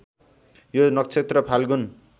यो नक्षत्र फाल्गुन